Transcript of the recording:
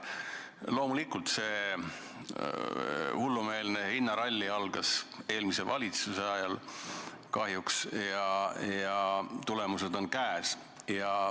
Loomulikult see hullumeelne hinnaralli algas eelmise valitsuse ajal ja kahjuks tulemused on käes.